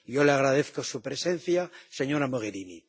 Yo le agradezco su presencia, señora Mogherini.